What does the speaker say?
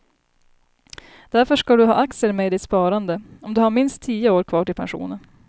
Därför ska du ha aktier med i ditt sparande, om du har minst tio år kvar till pensionen.